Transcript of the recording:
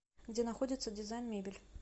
где находится дизайн мебель